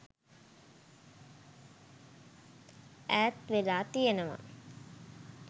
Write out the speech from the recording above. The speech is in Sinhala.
ඈත් වෙලා තියෙනවා.